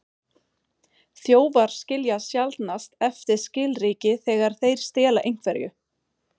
Þjófar skilja sjaldnast eftir skilríki þegar þeir stela einhverju.